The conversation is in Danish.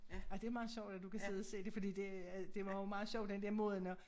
Ja ej det meget sjovt at du kan sidde og se det fordi det øh det var jo meget sjovt den der måden at